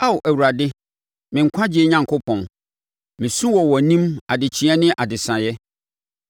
Ao Awurade, me nkwagyeɛ Onyankopɔn mesu wɔ wʼanim adekyeeɛ ne adesaeɛ.